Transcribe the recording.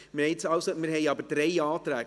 Wir haben jetzt aber drei Anträge.